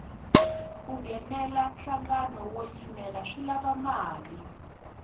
ku nghenela nhlangano wo yimela swi lava mali